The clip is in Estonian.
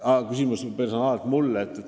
Aa, see oli küsimus personaalselt mulle?